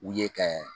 U ye kɛ